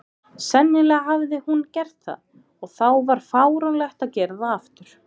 Sennilega hafði hún gert það, og þá var fáránlegt að gera það aftur.